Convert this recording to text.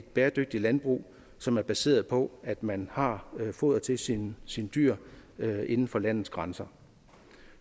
bæredygtigt landbrug som er baseret på at man har foder til sine sine dyr inden for landets grænser